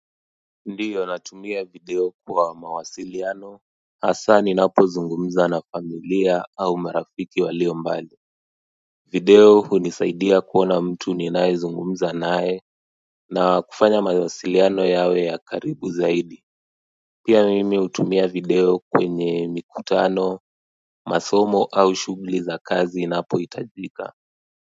Ndio natumia video kwa mawasiliano hasa ninapo zungumza na familia au marafiki walio mbali video hunisaidia kuona mtu ninaye zungumza naye na kufanya mawasiliano yawe ya karibu zaidi pia mimi hutumia video kwenye mikutano masomo au shughuli za kazi inapohitajika.